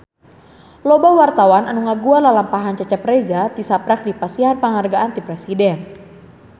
Loba wartawan anu ngaguar lalampahan Cecep Reza tisaprak dipasihan panghargaan ti Presiden